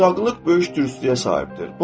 Uşaqlıq böyük dürüstlüyə sahibdir.